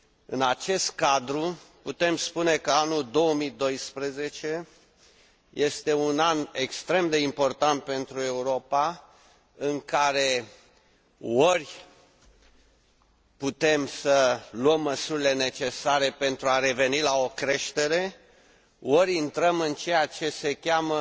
În acest cadru, putem spune că anul 2012 este un an extrem de important pentru Europa, în care ori putem să luăm măsurile necesare pentru a reveni la o creștere, ori intrăm în ceea ce se cheamă